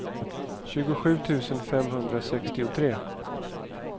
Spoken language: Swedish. tjugosju tusen femhundrasextiotre